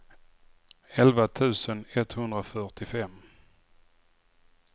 elva tusen etthundrafyrtiofem